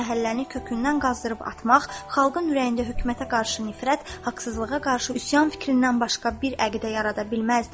Bir məhəlləni kökündən qazıyıb atmaq xalqın ürəyində hökumətə qarşı nifrət, haqsızlığa qarşı üsyan fikrindən başqa bir əqidə yarada bilməzdi.